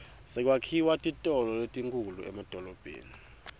sekwakhiwa titolo letinkhulu emadolobheni